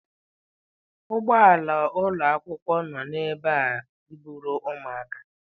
Ụgbọ ala ụlọ akwụkwọ nọ ebe a iburu ụmụaka.